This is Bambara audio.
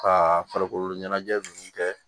Ka farikolo ɲɛnajɛ ninnu kɛ